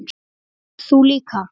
Þú líka?